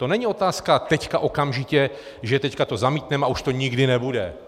To není otázka teď okamžitě, že teď to zamítneme a už to nikdy nebude.